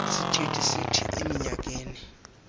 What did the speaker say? isithethi sithi eminyakeni